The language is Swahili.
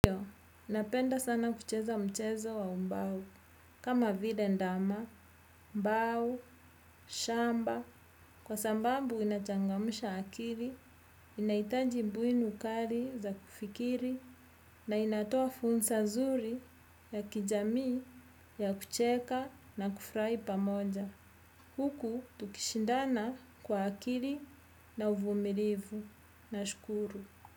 Iyo, ninapenda sana kucheza mchezo wa ubao, kama vile ndama, mbau, shamba, kwa sambambu inachangamsha akiri, inahitaji mbuini kari za kufikiri, na inatoa fursa zuri ya kijamii ya kucheka na kufrai pamoja. Huku, tukishindana kwa akiri na uvumirivu. Nashukuru.